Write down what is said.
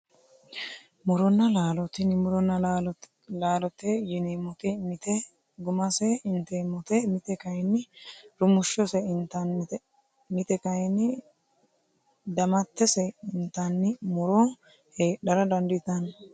Muronna laalo tini muronna laalote yineemmoti mite gummase inteemmote mite kayinni rumushshose intannite mite kayinni damattese intanni muro heedhara dandiitanno